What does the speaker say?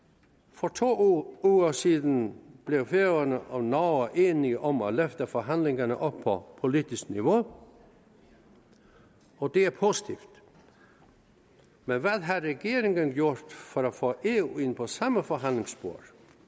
for to uger siden blev færøerne og norge enige om at løfte forhandlingerne op på politisk niveau og det er positivt men hvad havde regeringen gjort for at få eu ind på samme forhandlingsspor